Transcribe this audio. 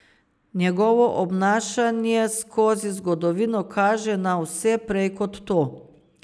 Njegovo obnašanje skozi zgodovino kaže na vse prej kot to.